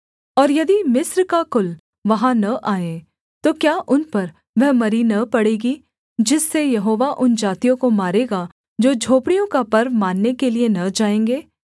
और यदि मिस्र का कुल वहाँ न आए तो क्या उन पर वह मरी न पड़ेगी जिससे यहोवा उन जातियों को मारेगा जो झोपड़ियों का पर्व मानने के लिये न जाएँगे